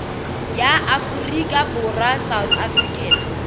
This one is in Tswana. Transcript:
ya aforika borwa south african